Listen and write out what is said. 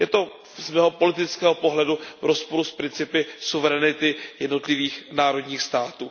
Je to z mého politického pohledu v rozporu s principy suverenity jednotlivých národních států.